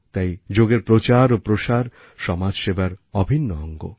তাই যোগের প্রচার ও প্রসার সমাজ সেবার অভিন্ন অঙ্গ